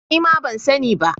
Nima ban sani ba